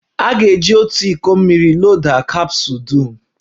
A ga-eji otu iko mmiri loda kapsụl dum.